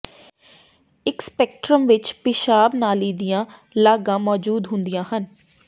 ਇਕ ਸਪੈਕਟ੍ਰਮ ਵਿੱਚ ਪਿਸ਼ਾਬ ਨਾਲੀ ਦੀਆਂ ਲਾਗਾਂ ਮੌਜੂਦ ਹੁੰਦੀਆਂ ਹਨ